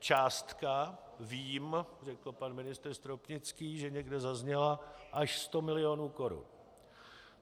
Částka, vím, řekl pan ministr Stropnický, že někde zazněla, až 100 mil. korun.